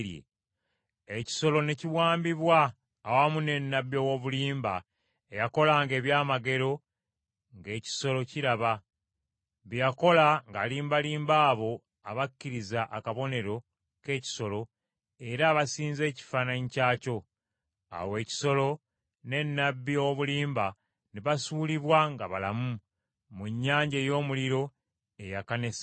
Ekisolo ne kiwambibwa awamu ne nnabbi ow’obulimba eyakolanga ebyamagero ng’ekisolo kiraba; bye yakola ng’alimbalimba abo abakkiriza akabonero k’ekisolo era abasinza ekifaananyi kyakyo. Awo ekisolo ne nnabbi ow’obulimba ne basuulibwa nga balamu, mu nnyanja ey’omuliro eyaka ne salufa.